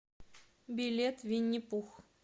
билет винни пух